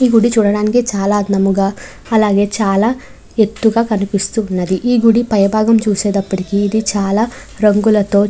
ఈ గుడి చూడడానికి చాలా అందంగా అలాగే చాలా ఎత్తుగా కనిపిస్తూ ఉన్నది. ఈ గుడి పైభాగం చూసేతప్పుడికి ఇది చాలా రంగులతో--